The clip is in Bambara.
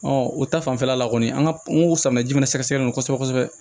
o ta fanfɛla la kɔni an ka n ko samiyɛ jumɛn sɛgɛsɛgɛli kɔsɛbɛ